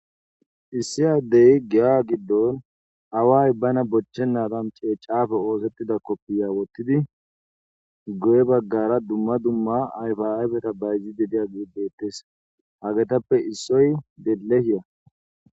issi addey gi7a giddon away bana bochchenadan ceecafe oosettida koppiya wottidi goye baggara dumma dumma ayfaaabeta bayzi dediya giibdettes hagetappe issoy delle hiya